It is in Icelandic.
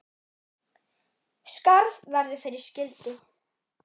Skarð verður fyrir skildi.